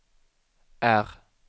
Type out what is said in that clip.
R